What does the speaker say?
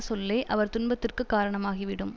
சொல்லே அவர் துன்பத்துக்குக் காரணமாகி விடும்